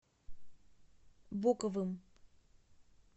боковым